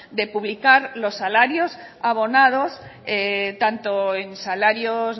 de publicar los salarios abonados tanto en salarios